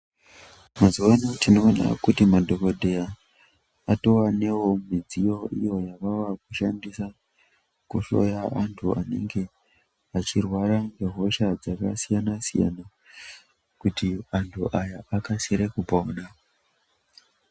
Muzuvaana tinoona kuti madhokoteya ati wandewo iyo midziyo iyo yavava kushandisa kuhloya antu anenge achirwara ngehosha dzakasiyana-siyana kuti antu aya akasire kupona.